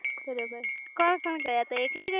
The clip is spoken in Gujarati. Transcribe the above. બરોબર કોણ કોણ ગયા તા એકલી ગયી